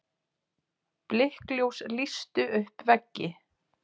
Blikkljós lýstu upp veggi.